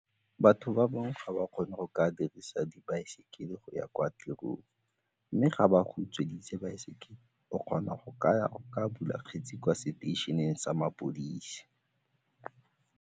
Batho ba bangwe ga ba kgone go ka dirisa dibaesekele go ya kwa tirong mme ga ba go utsweditse baesekele o kgona go ka ya go ka bula kgetse kwa seteišene sa mapodisi.